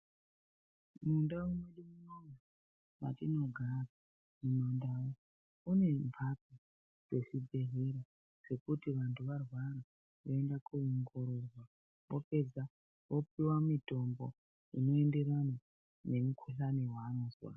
Mundau mwedu munomu matinogara mumandau mune mphatso dzezvibhedhlera dzekuti vanthu varwara voenda koongororwa. Vopedza vopiwa mutombo unoenderana nemukuhlani wanozwa.